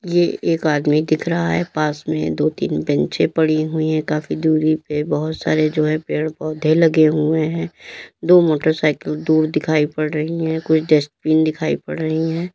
ये एक आदमी दिख रहा है पास में दो तीन बेंचे पड़ी हुई है काफी दूरी पे बहोत सारे जो है पेड़ पौधे लगे हुए हैं दो मोटरसाइकिल दूर दिखाई पड़ रही है कुछ डस्टबिन दिखाई पड़ रहे है।